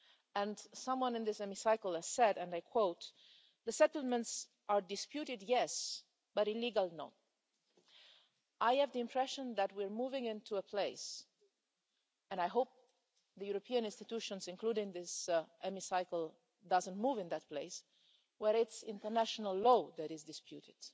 And someone in this Chamber said, and I quote the settlements are disputed, yes, but illegal, no'. I have the impression that we are moving into a place and I hope the European institutions, including this Chamber, don't move into that place where it's international law that is disputed.